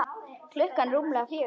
Klukkan rúmlega fjögur.